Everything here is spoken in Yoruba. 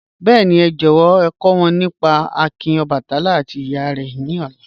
Bẹẹ̀ni, è jọ̀wọ̀ è kò wọn nípá àkìn Ọbàtálá àti ìyè re lóla